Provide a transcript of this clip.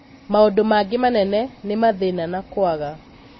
Maũndu mangĩ manene nĩ mathĩna na kũaga.